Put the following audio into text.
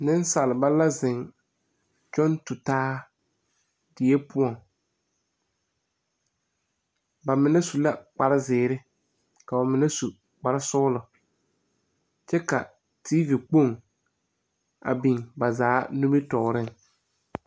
Neŋsalba la zeŋ kyɔŋ tu taa die poɔŋ ba mine su la kparezeere ka ba mine su kparesɔglɔ kyɛ ka teevi Kpoŋ a biŋ ba zaa nimitooreŋ.